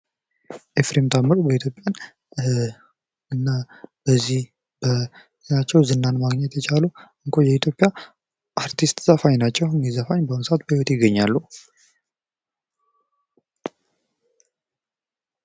ኤፍሬም ታምሩ በኢትዮጵያ እና በዚህ በሀገራቸው ዝናን ማግኘት የቻሉ እንቁ የኢትዮጵያ አርቲስት ዘፋኝ ናቸው። እኒህ ዘፋኝ በአሁኑ ሰአት በህይወት ይገኛሉ።